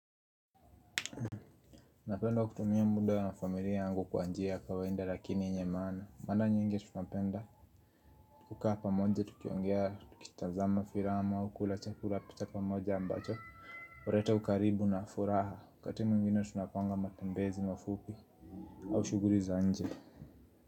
Napenda kutumia muda na familia yangu kwa njia kawaida lakini yenye maana mara nyingi tunapenda kukaa pamoja tukiongea tukitazama filamu au chakula cha pamoja ambacho huleta ukaribu na furaha wakati mwingine tunapanga matembezi mafupi au shughuli za nje.